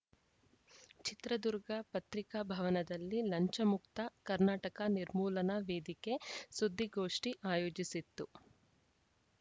ಚಿತ್ರದುರ್ಗ ಪತ್ರಿಕಾಭವನದಲ್ಲಿ ಲಂಚಮುಕ್ತ ಕರ್ನಾಟಕ ನಿರ್ಮೂಲನಾ ವೇದಿಕೆ ಸುದ್ದಿಗೋಷ್ಠಿ ಆಯೋಜಿಸಿತ್ತು